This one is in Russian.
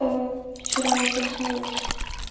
вчера я проснулась